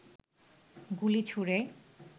গুলি ছুঁড়ে